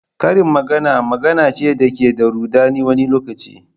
Karin magana magana ce da ke da rudani wani lokaci.